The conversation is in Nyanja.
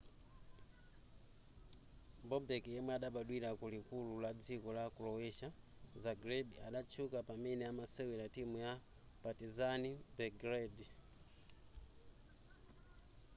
bobek yemwe adabadwira kulikulu la dziko la croatia zagreb adatchuka pamene amasewera timu ya partizan belgrade